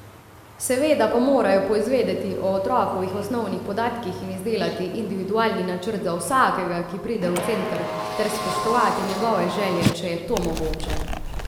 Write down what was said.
Seveda pa morajo poizvedeti o otrokovih osnovnih podatkih in izdelati individualni načrt za vsakega, ki pride v center, ter spoštovati njegove želje, če je to mogoče.